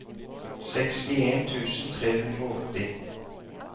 sekstien tusen tre hundre og åtti